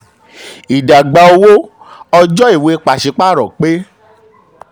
ìdàgbà owó: ọjọ́ tí ìwé pàṣípààrọ̀ pé.